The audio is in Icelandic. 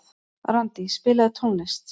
Randí, spilaðu tónlist.